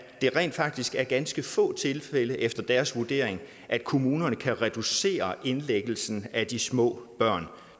det rent faktisk er i ganske få tilfælde efter deres vurdering at kommunerne kan reducere indlæggelsen af de små børn